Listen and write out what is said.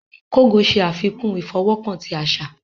Kogò ṣe afikun ifọwọkan ti aṣa.